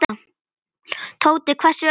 Tóti hvessti augum.